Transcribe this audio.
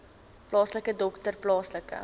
plaaslike dokter plaaslike